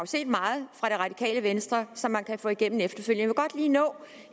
set meget fra det radikale venstre som man kan få igennem efterfølgende godt lige nå